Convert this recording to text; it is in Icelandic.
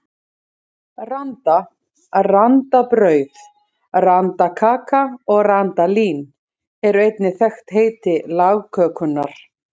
Randa, randabrauð, randakaka og randalín eru einnig þekkt heiti lagkökunnar.